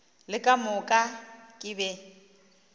le ka moka ke be